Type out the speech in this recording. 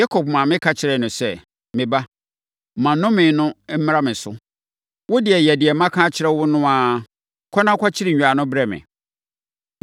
Yakob maame ka kyerɛɛ no sɛ, “Me ba, ma nnome no mmra me so. Wo deɛ, yɛ deɛ maka akyerɛ wo no ara. Kɔ na kɔkyere nnwan no brɛ me.”